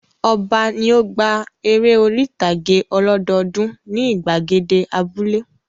Ọba ni ó gba eré orí-ìtàgé ọlọ́dọọdún ní ìgbàgede abúlé.